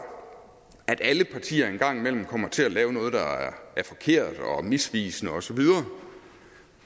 at alle partier en gang imellem kommer til at lave noget der er forkert og misvisende osv